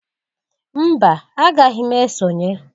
Mba! Agaghị m esonye.